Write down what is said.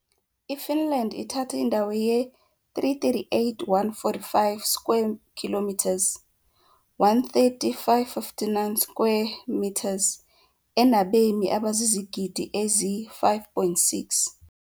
IFinland ithatha indawo ye-338,145 square kilometers, 130,559 square meters, enabemi abazizigidi ezi-5.6.